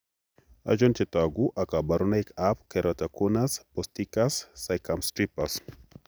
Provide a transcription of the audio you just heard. Achon chetogu ak kaborunoik ab Keratoconus posticus circumstripus?